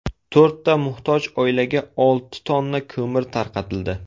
To‘rtta muhtoj oilaga olti tonna ko‘mir tarqatildi.